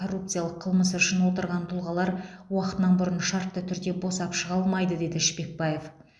коррупциялық қылмысы үшін отырған тұлғалар уақытынан бұрын шартты түрде босап шыға алмайды деді шпекбаев